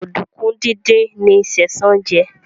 Oduku dín dín ní Sesan jé.